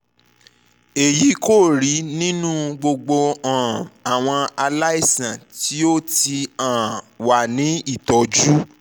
eyi ko rii ninu gbogbo um awọn alaisan ti o ti um wa ni itọju